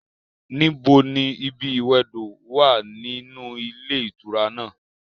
Níbo ni ibi ìwẹdò wà ninú ilé ìtura náà?